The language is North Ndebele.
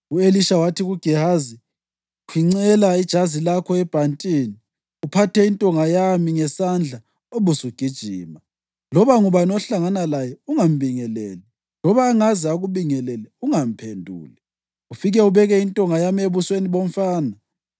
U-Elisha wathi kuGehazi, “Khwincela ijazi lakho ebhantini, uphathe intonga yami ngesandla ubusugijima. Loba ngubani ohlangana laye, ungambingeleli, loba angaze akubingelele ungamphenduli. Ufike ubeke intonga yami ebusweni bomfana.”